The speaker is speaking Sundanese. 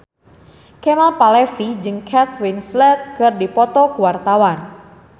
Kemal Palevi jeung Kate Winslet keur dipoto ku wartawan